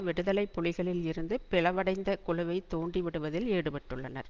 விடுதலை புலிகளில் இருந்து பிளவடைந்த குழுவை தூண்டி விடுவதில் ஈடுபட்டுள்ளனர்